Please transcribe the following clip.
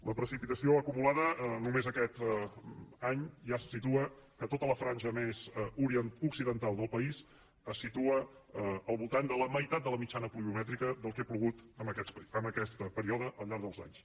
la precipitació acumulada només aquest any ja se situa que tota la franja més occidental del país es situa al voltant de la meitat de la mitjana pluviomètrica del que ha plogut en aquest període al llarg dels anys